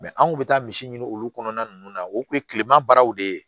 an kun bɛ taa misi ɲini olu kɔnɔna ninnu na o tun ye kilema baaraw de ye